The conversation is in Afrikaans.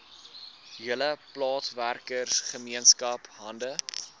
hele plaaswerkergemeenskap hande